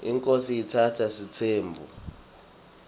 inkhosi itsatsa sitsembu